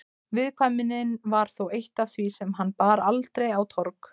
Viðkvæmnin var þó eitt af því sem hann bar aldrei á torg.